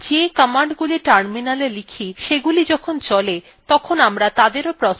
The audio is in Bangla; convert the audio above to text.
আমরা the commandsগুলি terminal type সেগুলি যখন চলে তখন আমরা তাদেরও processes বলতে পারি